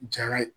Jara ye